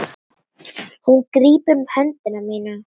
Hún grípur um hönd mína.